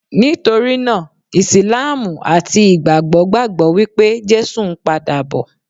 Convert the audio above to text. Nítorí náà, Ìsìlámù àti Ìgbàgbọ́ gbàgbọ́ wípé Jésù ń pa dà bọ̀.